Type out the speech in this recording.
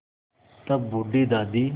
तब भी बूढ़ी दादी